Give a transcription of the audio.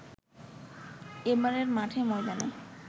এবারের মাঠে ময়দানে